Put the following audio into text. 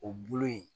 O bolo in